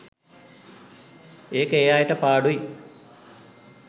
ඒක ඒ අයට පාඩුයි.